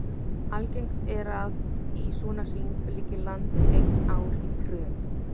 Algengt er að í svona hring liggi land eitt ár í tröð.